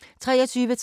TV 2